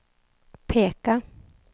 peka